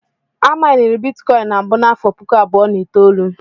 A mainiri Bitikọin na mbụ n'afọ puku abụọ na itoolu.